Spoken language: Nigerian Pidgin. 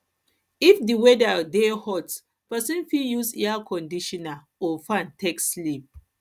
if di weather dey hot person fit use air conditioner or fan take sleep